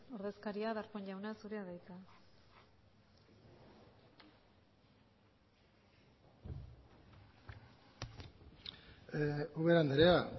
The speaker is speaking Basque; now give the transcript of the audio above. ordezkaria darpón jauna zurea da hitza ubera andrea